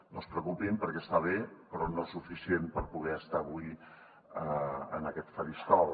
no es preocupin perquè està bé però no suficientment per poder estar avui en aquest faristol